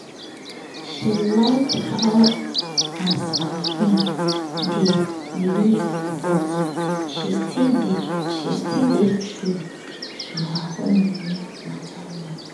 she like how as her friend dey live but she still dey true to her own money matter well